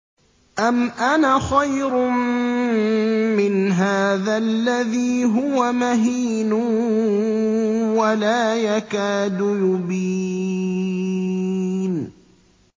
أَمْ أَنَا خَيْرٌ مِّنْ هَٰذَا الَّذِي هُوَ مَهِينٌ وَلَا يَكَادُ يُبِينُ